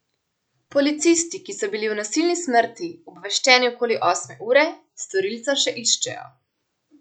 Policisti, ki so bili o nasilni smrti obveščeni okoli osme ure, storilca še iščejo.